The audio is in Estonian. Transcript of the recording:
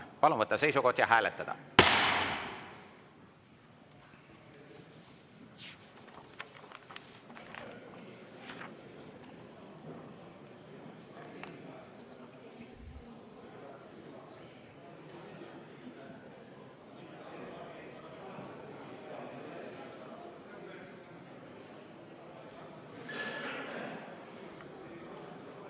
Palun võtta seisukoht ja hääletada!